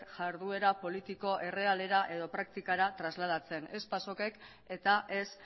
jarduera politiko errealera edo praktikara trasladatzen ez pasok ek eta ez